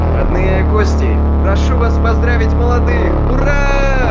родные и гости прошу вас поздравить молодых ура